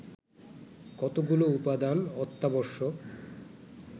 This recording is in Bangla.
কতগুলো উপাদান অত্যাবশ্যক